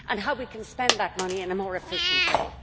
and how we can spend that money in a more efficient way